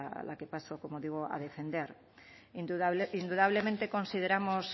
la que paso como digo a defender indudable indudablemente consideramos